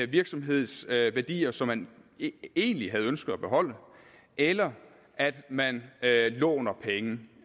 virksomhedsværdier som man egentlig havde ønsket at beholde eller at man låner penge